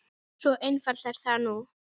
Svo einfalt er það nú.